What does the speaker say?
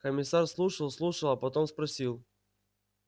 комиссар слушал слушал а потом спросил